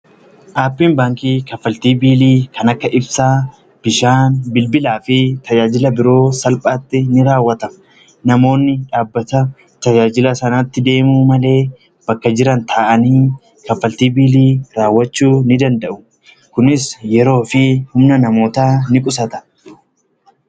dhaabbiin baankii kanfaltii kanneen akka ibsaa, bishaanii fi bilbilaa fi kanneen biroo haala salphaatiin ni raawwata. Namoonni bakka dhaabbata kanaa osoo hin deemiin bakka jiran taa'anii kaffaltii biilii raawwachuu ni danda'u. kunis yeroo fi humna namootaa ni qusata.